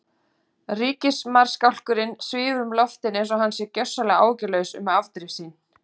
Ríkismarskálkurinn svífur um loftin einsog hann sé gjörsamlega áhyggjulaus um afdrif sín.